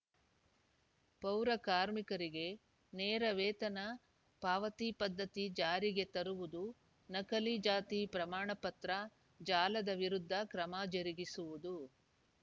ಪೌರ ಕಾರ್ಮಿಕರಿಗೆ ನೇರ ವೇತನ ಪಾವತಿ ಪದ್ಧತಿ ಜಾರಿಗೆ ತರುವುದು ನಕಲಿ ಜಾತಿ ಪ್ರಮಾಣ ಪತ್ರ ಜಾಲದ ವಿರುದ್ಧ ಕ್ರಮ ಜರುಗಿಸುವುದು